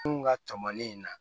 Kunun ka cɔmɔni in na